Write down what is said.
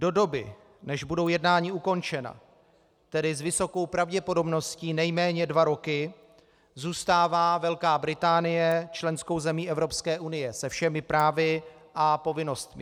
Do doby, než budou jednání ukončena, tedy s vysokou pravděpodobností nejméně dva roky, zůstává Velká Británie členskou zemí Evropské unie se všemi právy a povinnostmi.